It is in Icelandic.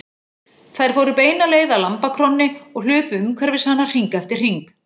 Þær fóru beina leið að lambakrónni og hlupu umhverfis hana hring eftir hring.